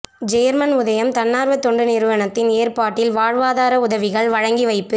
German உதயம் தன்னார்வ தொண்டு நிறுவனத்தின் ஏற்பாட்டில் வாழ்வாதார உதவிகள் வழங்கி வைப்பு